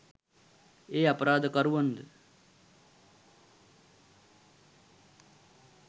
ඒ අපරාධකරුවන් ද